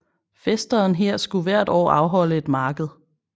Fæsteren her skulle hvert år afholde et marked